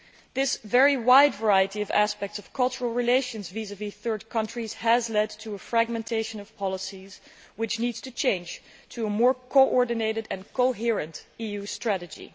This very wide variety of aspects of cultural relations vis vis third countries has led to a fragmentation of policies, which needs to change to a more coordinated and coherent EU strategy.